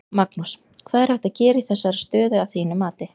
Magnús: Hvað er hægt að gera í þessari stöðu að þínu mati?